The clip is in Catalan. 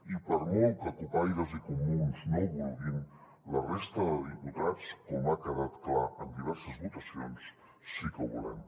i per molt que cupaires i comuns no ho vulguin la resta de diputats com ha quedat clar en diverses votacions sí que ho volem